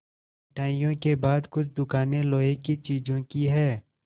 मिठाइयों के बाद कुछ दुकानें लोहे की चीज़ों की हैं